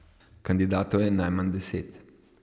Kandidatov je najmanj deset.